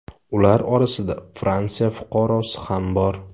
Ular orasida Fransiya fuqarosi ham bor.